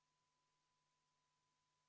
Palun kohaloleku kontroll!